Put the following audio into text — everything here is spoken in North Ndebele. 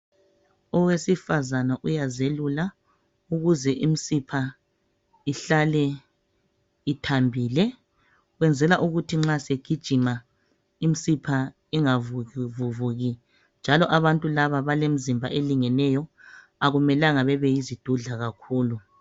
owesifazana uyazelula ukuze imsipha ihlale ithambile wenzela ukuthi nxa segijima imsipha ingavuvuki njalo abantu laba balemzimba elingeneyo akumelanga babe yizidudla kakhulu